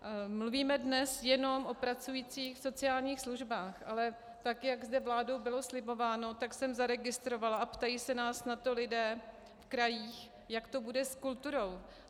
Mluvíme dnes jenom o pracujících v sociálních službách, ale tak jak zde vládou bylo slibováno, tak jsem zaregistrovala, a ptají se nás na to lidé v krajích, jak to bude s kulturou.